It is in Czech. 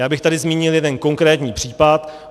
Já bych tady zmínil jeden konkrétní případ.